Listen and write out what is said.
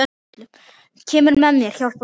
Kemur með mér, hjálpar mér.